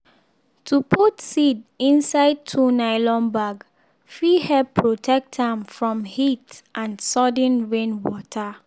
to put seed inside two nylon bag fit help protect am from heat and sudden rain water.